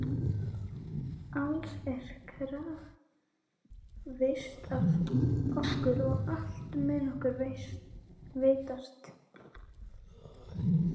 Alls er krafist af okkur og allt mun okkur veitast.